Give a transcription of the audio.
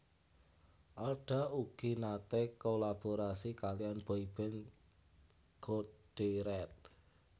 Alda ugi naté kolaborasi kaliyan boyband Code Red